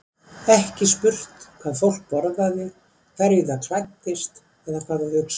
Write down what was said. Ekki spurt hvað fólk borðaði, hverju það klæddist eða hvað það hugsaði.